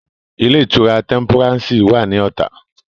Ilé-ìtura Tẹ́ḿpúrànsì wà ní Ọ̀tà.